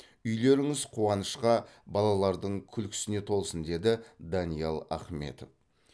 үйлеріңіз қуанышқа балалардың күлкісіне толсын деді даниал ахметов